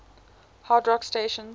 hard rock stations